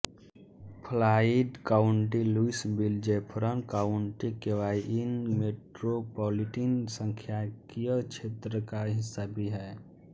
Floyd county Louisville Jefferson county KY IN metropolitan सांख्यिकीय क्षेत्र का हिस्सा भी है